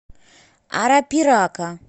арапирака